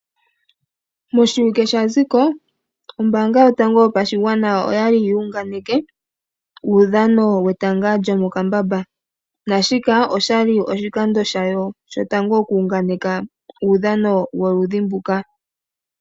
Moshiwike sha zigo ombaanga yotango yopashigwana oya li yu unganeke, uudhano wetanga lyomokambamba. Naashika osha li oshikando shayo shotango, oku unganeka uudhano woludhi nduka.